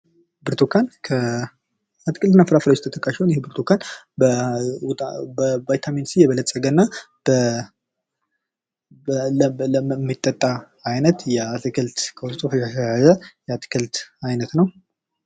ብርቱካን ከአትክልት እና ፍርፍሬዎች ውስጥ ተጠቃሽ ነው። ይሄ ብርቱካን በቫይታሚን ሲ የበለጸገ እና የሚጠጣ አይነት ውስጡ ፈሳሽ የያዘ የአትክልት አይነት ነው።